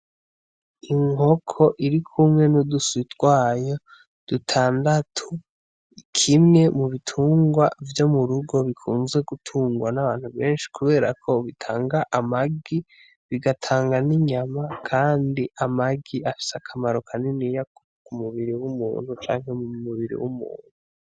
Inkoko iri kumwe n'uduswi twayo dutandatu, kimwe mu bitungwa vyo mu rugo bikunzwe gutungwa n'abantu benshi kubera ko bitanga amagi, bigatanga n'inyama kandi amagi afise akamaro kaniniya ku mubiri w'umuntu.